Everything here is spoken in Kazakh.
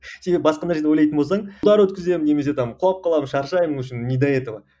себебі басқа нәрселер ойлайтын болсаң удар өткіземін немесе там құлап қаламын шаршаймын в общем не до этого